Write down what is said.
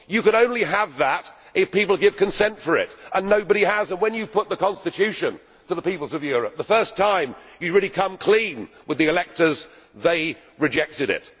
You can only have that if people give consent for it, and nobody has done so. When the EU put the constitution to the peoples of Europe the first time it really came clean with the electors they rejected